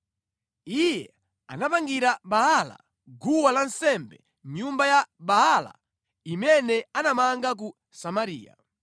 Iye anapangira Baala guwa lansembe mʼnyumba ya Baala imene anamanga ku Samariya.